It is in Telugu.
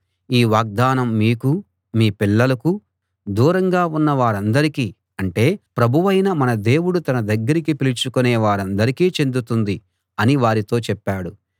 ఈ వాగ్దానం మీకూ మీ పిల్లలకూ దూరంగా ఉన్న వారందరికీ అంటే ప్రభువైన మన దేవుడు తన దగ్గరికి పిలుచుకొనే వారందరికీ చెందుతుంది అని వారితో చెప్పాడు